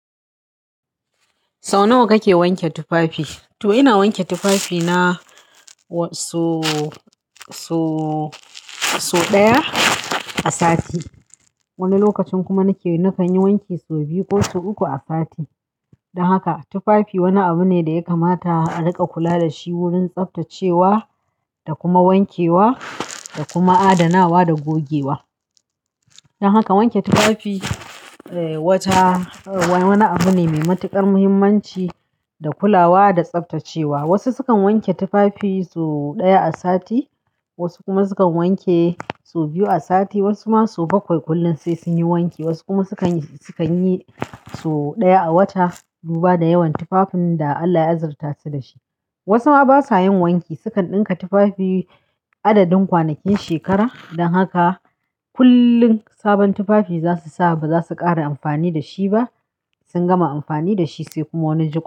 Sau nawa kake wanke tufafi? To ina wanke tufafi na wasso, so, so ɗaya a sati. Wani lokacin kuma nake, nakan yi wanki sau biyu ko sau uku a sati. Dan haka tufafi wani abu ne da ya kamata a riƙa kula da shi wurin tsaftacewa, da kuma wankewa, da kuma adanawa da gogewa. Dan haka wanke tufafi eh wata, wani abu ne mai matuƙar muhimmanci da kulawa da tsaftacewa. Wasu sukan wanke tufafi su ɗaya a sati, wasu kuma sukan wanke su biyu a sati, wasu ma su bakwai kullum sai sun yi wanki. Wasu kuma sukan yi, sukan yi sau ɗaya a wata, duba da yawan tufafin da Allah ya azirtasu dashi. Wasu ma basa yin wanki, sukan ɗinka tufafi adadin kwanakin shekara. Dan haka kullum sabon tufafi zasu sa ba za su ƙara amfani da shi ba. Sun gama amfani da shi sai kuma wani jiko.